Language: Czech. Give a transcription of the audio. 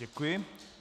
Děkuji.